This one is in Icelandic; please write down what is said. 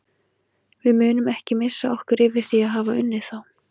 Við munum ekki missa okkur yfir því að hafa unnið þá.